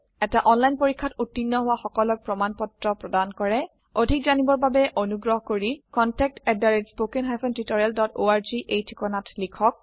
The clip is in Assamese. এটা অনলাইন পৰীক্ষাত উত্তীৰ্ণ হোৱা সকলক প্ৰমাণ পত্ৰ প্ৰদান কৰে অধিক জানিবৰ বাবে অনুগ্ৰহ কৰি contactspoken tutorialorg এই ঠিকনাত লিখক